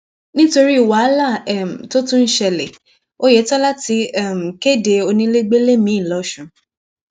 nítorí wàhálà um tó tún ṣẹlẹ ọyétọlá ti um kéde onílégbélé miì lọṣùn